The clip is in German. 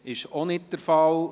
– Dies ist nicht der Fall.